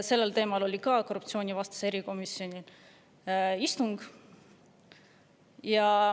Sel teemal oli ka korruptsioonivastase erikomisjoni istung.